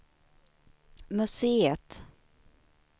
museet